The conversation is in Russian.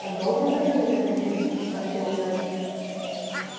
а долго готовить это зелье спросил гарри